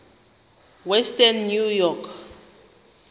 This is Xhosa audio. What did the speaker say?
western new york